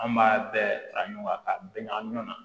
An b'a bɛɛ fara ɲɔgɔn kan k'a bɛn ɲagaminan